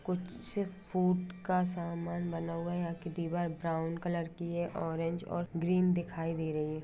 कुछ फूट का समान बना हुआ है यहाँ की दीवार ब्राउन कलर की है ओरंज और गीरिन दिखाई दे रही हैं।